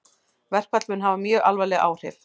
Verkfall mun hafa mjög alvarleg áhrif